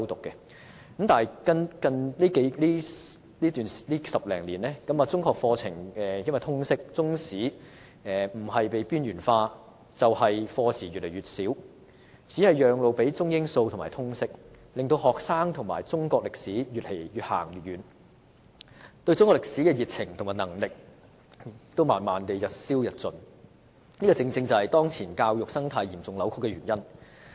但是，近10多年來，隨着通識科的出現，中學課程的中史不是被邊緣化，就是課時越來越少，只是讓路予中、英、數及通識科，令學生與中國歷史越走越遠，對中國歷史的熱情和認識也慢慢日消日盡，這正正是當前教育生態嚴重扭曲的原因。